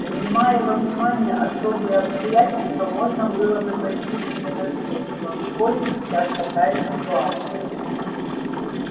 принимая во внимание особые обстоятельства можно было бы пойти тебе навстречу но в школе сейчас такая ситуация